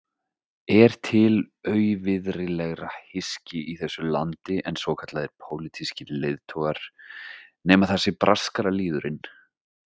Er til auvirðilegra hyski í þessu landi en svokallaðir pólitískir leiðtogar, nema það sé braskaralýðurinn?